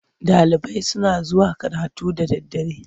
Ɗalibai suna zuwa karatu da daddare.